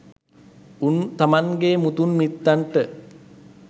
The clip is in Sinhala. උන් තමන්ගේ මුතුන් මිත්තන්ට